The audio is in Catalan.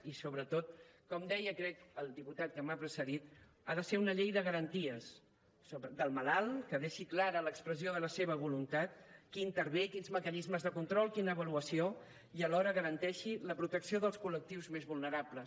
i sobretot com deia crec el diputat que m’ha precedit ha de ser una llei de garanties del malalt que deixi clar l’expressió de la seva voluntat qui intervé i quins mecanismes de control quina avaluació i que alhora garanteixi la protecció dels col·lectius més vulnerables